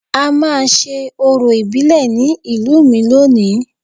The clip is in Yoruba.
A máa ṣe orò ìbílẹ̀ ní ìlú mi lónìí